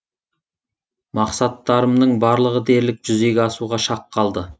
мақсаттарымның барлығы дерлік жүзеге асуға шақ қалды